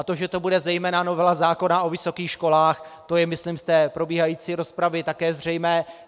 A to, že to bude zejména novela zákona o vysokých školách, to je myslím z té probíhající rozpravy také zřejmé.